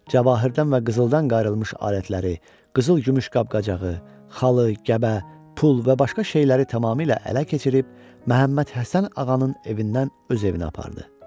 Cəvahirdən və qızıldan qayrılmış alətləri, qızıl-gümüş qab-qacağı, xalı, gəbə, pul və başqa şeyləri tamamilə ələ keçirib, Məhəmməd Həsən Ağanın evindən öz evinə apardı.